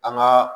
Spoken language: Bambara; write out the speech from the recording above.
An ka